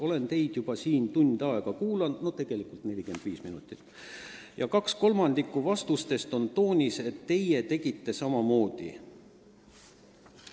Olen teid juba siin tund aega kuulanud ja kaks kolmandikku vastustest on toonis, et teie tegite samamoodi.